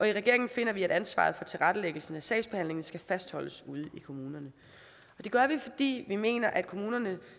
i regeringen finder vi at ansvaret for tilrettelæggelsen af sagsbehandlingen skal fastholdes ude i kommunerne det gør vi fordi vi mener at kommunerne